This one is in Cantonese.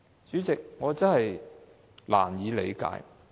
主席，我真的難以理解。